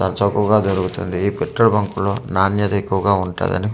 చవకగా దొరుకుతుంది ఈ petrol bunk లో నాణ్యత ఎక్కువగా ఉంటదని.